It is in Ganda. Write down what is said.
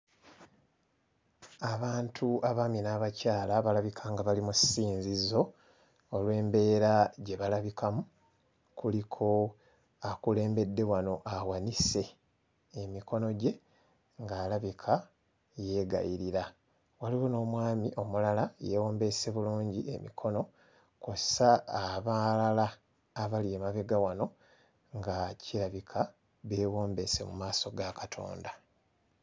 Abantu abaami n'abakyala abalabika nga bali mu ssinzizo olw'embeera gye balabikamu. Kuliko akulembedde wano awanise emikono gye ng'alabika yeegayirira, waliwo n'omwami omulala yeewombeese bulungi emikono kw'ossa abalala abali emabega wano nga kirabika beewombeese mu maaso ga Katonda.